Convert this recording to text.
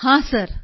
ಹಾಂ ಸರ್